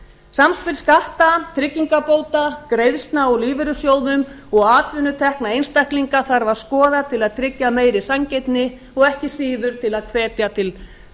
samspil skatta tryggingabóta greiðslna úr lífeyrissjóðum og atvinnutekna einstaklinga þarf að skoða til að tryggja meiri sanngirni og ekki síður til að hvetja til